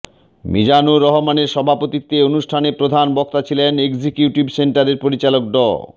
মিজানুর রহমানের সভাপতিত্বে অনুষ্ঠানে প্রধান বক্তা ছিলেন এক্সিকিউটিভ সেন্টারের পরিচালক ডা